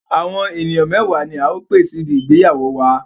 Àwọn ènìyàn mẹwa ni a ó pè síbi ìgbéyàwó wàá.